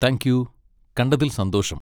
thank you, കണ്ടതിൽ സന്തോഷം